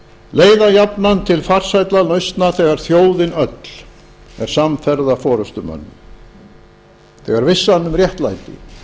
leiða jafnan til farsælla lausna þegar þjóðin öll er samferða forustumönnum þegar vissan um réttlæti